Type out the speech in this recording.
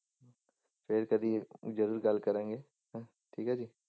ਫਿਰ ਕਦੇ ਜ਼ਰੂਰ ਗੱਲ ਕਰਾਂਗੇ ਹਾਂ ਠੀਕ ਆ ਜੀ।